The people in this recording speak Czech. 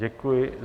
Děkuji.